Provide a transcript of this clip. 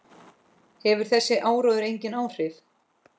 Hefur þessi áróður engin áhrif?